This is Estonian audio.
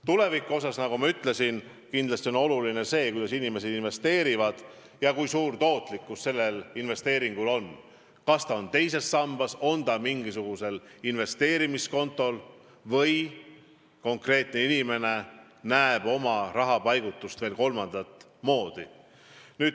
Tuleviku seisukohalt, nagu ma ütlesin, on oluline see, kuidas inimesed investeerivad, kui suur tootlikkus nende investeeringutel on, kas nende raha on teises sambas või mingisugusel investeerimiskontol või on inimene raha paigutanud veel kolmandat moodi.